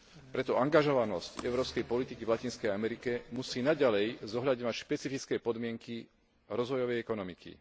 Preto angažovanosť európskej politiky v Latinskej Amerike musí naďalej zohľadňovať špecifické podmienky rozvojovej ekonomiky.